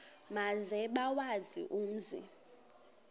maze bawazi umzi